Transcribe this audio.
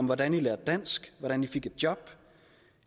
hvordan i lærte dansk hvordan i fik et job